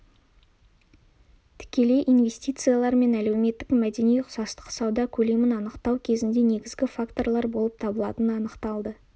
тікелей инвестициялар мен әлеуметтік-мәдени ұқсастық сауда көлемін анықтау кезінде негізгі факторлар болып табылатыны анықталды